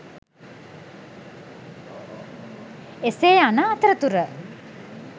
එසේ යන අතරතුර